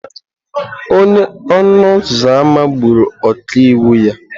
Onye ọnụ ụzọ ámá gburu ọkaiwu ya.